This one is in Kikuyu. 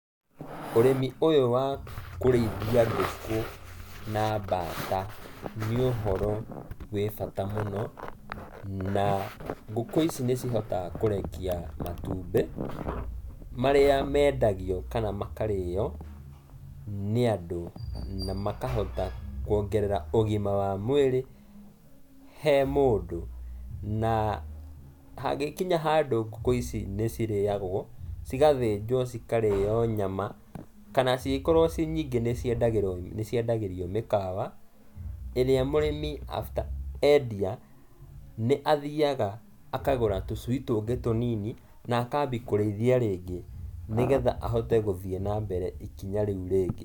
Ũrĩmi ũyũ wa kũrĩithia ngũkũ, na mbata nĩ ũhoro, wĩ bata mũno, na ngũkũ ici nĩcihotaga kũrekia matumbĩ, marĩa mendagio kana makarĩo, nĩ andũ, na makahota kuongerera ũgima wa mwĩrĩ, he mũndũ, na hangĩkinya handũ ngũkũ ici nĩ cirĩagũo, cigathĩnjũo cikarĩo nyama, kana cingĩkorũo cirĩ nyingĩ nĩciendagĩrio mĩkawa, ĩrĩa mũrĩmi after endia, nĩathiaga akagũra tũcui tũngĩ tũnini na akambia kũrĩithia rĩngĩ nĩgetha ahote gũthiĩ na mbere ikinya rĩu rĩngĩ.